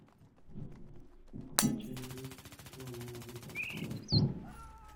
купить чай индийский со слоном одну пачку